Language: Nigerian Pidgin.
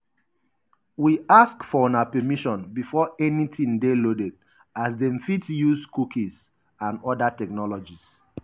we ask for una permission before anytin dey loaded as dem fit dey use cookies and oda technologies.